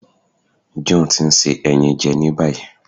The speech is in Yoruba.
John ti n se ẹyin jẹ ni bayi